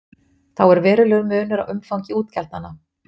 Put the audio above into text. Þá er verulegur munur á umfangi útgjaldanna.